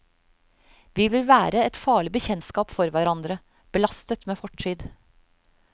Vi vil være et farlig bekjentskap for hverandre, belastet med fortid.